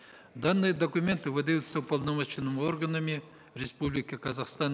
данные документы выдаются уполномоченными органами республики казахстан